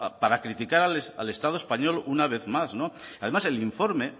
para criticar al estado español una vez más además el informe